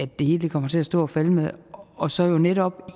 det hele kommer til at stå og falde med og så jo netop